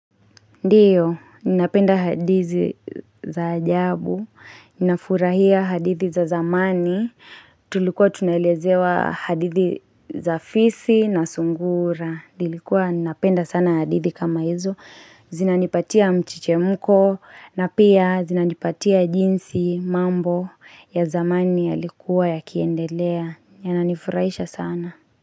Ndiyo, ninapenda hadizi za ajabu, ninafurahia hadithi za zamani, tulikuwa tunalezewa hadithi za fisi na sungura. Nilikuwa, napenda sana hadithi kama hizo, zinanipatia mchechemko, na pia zinanipatia jinsi mambo ya zamani yalikuwa yakiendelea, yananifurahisha sana.